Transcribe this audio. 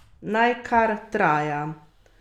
Naj kar traja!